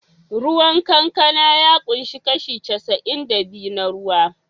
Ruwan kankana ya ƙunshi kashi casa'in da biyu na ruwa.